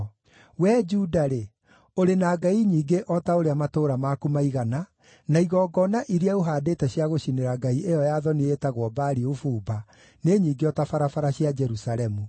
Wee Juda-rĩ, ũrĩ na ngai nyingĩ o ta ũrĩa matũũra maku maigana, na igongona iria ũhaandĩte cia gũcinĩra ngai ĩyo ya thoni ĩtagwo Baali ũbumba nĩ nyingĩ o ta barabara cia Jerusalemu.’